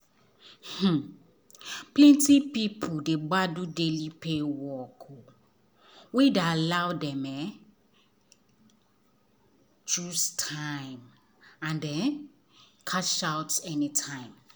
um plenty people dey gbadun daily pay work wey allow dem um choose time and um cash out anytime.